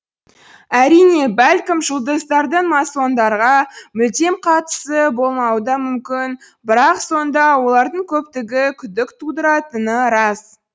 әрине бәлкім жұлдыздардың масондарға мүлдем қатысы болмауы да мүмкін бірақ сонда олардың көптігі күдік тудыратыны рас